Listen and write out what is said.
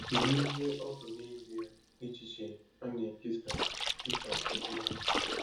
Kedu ihe ọ bụ nezie echiche a na-ekesa dị ka ozi ọma?